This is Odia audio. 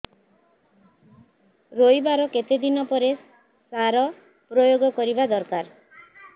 ରୋଈବା ର କେତେ ଦିନ ପରେ ସାର ପ୍ରୋୟାଗ କରିବା ଦରକାର